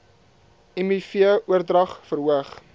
miv oordrag verhoog